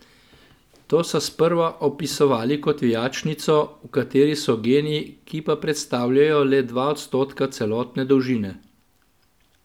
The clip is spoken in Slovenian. To so sprva opisovali kot vijačnico, v kateri so geni, ki pa predstavljajo le dva odstotka celotne dolžine.